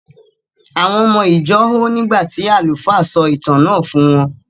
Àwọn ọmọ ìjọ hó nígbà tí àlùfáà sọ ìtàn náà fún wọ́n.